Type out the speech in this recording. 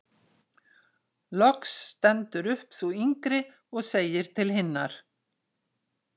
Loks stendur upp sú yngri og segir til hinnar: